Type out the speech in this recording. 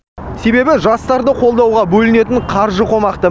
себебі жастарды қолдауға бөлінетін қаржы қомақты